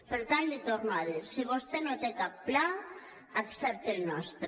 per tant l’hi torno a dir si vostè no té cap pla accepte el nostre